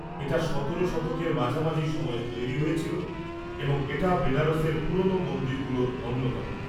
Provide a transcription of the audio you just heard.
এটা সতেরো শতকের মাঝামাঝি সময়ে তৈরি হয়েছিল এবং এটা বেনারসের পুরনো মন্দিরগুলোর অন্যতম।